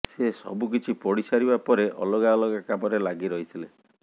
ସେ ସବୁକିଛି ପଢିସାରିବା ପରେ ଅଲଗା ଅଲଗା କାମରେ ଲାଗିରହିଥିଲେ